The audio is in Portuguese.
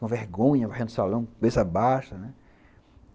Com vergonha, varrendo o salão, com cabeça baixa, né.